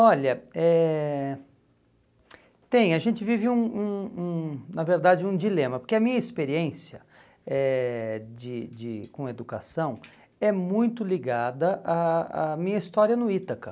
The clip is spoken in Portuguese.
Olha, eh tem, a gente vive, um um um na verdade, um dilema, porque a minha experiência eh de de com educação é muito ligada à à minha história no Ítaca.